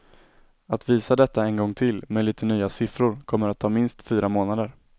Att visa detta en gång till, med lite nya siffror, kommer att ta minst fyra månader.